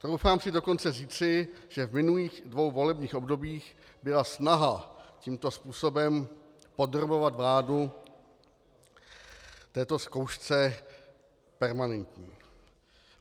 Troufám si dokonce říci, že v minulých dvou volebních obdobích byla snaha tímto způsobem podrobovat vládu této zkoušce permanentní.